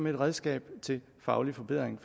et redskab til faglig forbedring